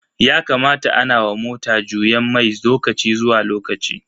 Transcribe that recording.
Yakamata ana wa mota juyen mai lokaci zuwa lokaci.